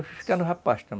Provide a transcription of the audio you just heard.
Eu fui ficando rapaz tam